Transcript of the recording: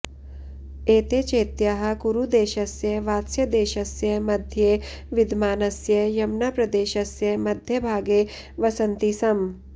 एते चेत्याः कुरुदेशस्य वात्स्यदेशस्य मध्ये विद्यमानस्य यमुनाप्रदेशस्य मध्यभागे वसन्ति स्म